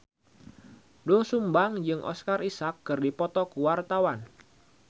Doel Sumbang jeung Oscar Isaac keur dipoto ku wartawan